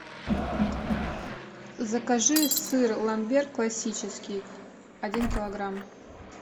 закажи сыр ламбер классический один килограмм